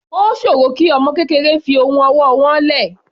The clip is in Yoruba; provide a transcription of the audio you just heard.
Ó sòro kí ọmọ kékeré fi ohun ọwọ́ wọ́n lẹ̀.